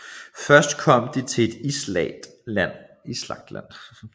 Først kom de til et islagt land